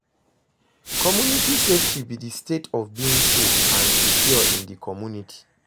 Community safety be di state of being safe and secure in di community?